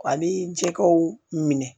Ani jɛgɛw minɛ